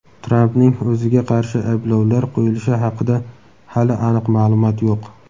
Trampning o‘ziga qarshi ayblovlar qo‘yilishi haqida hali aniq ma’lumot yo‘q.